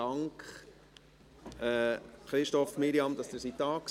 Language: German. Dank Christoph und Mirjam Tschumi, dass Sie da waren.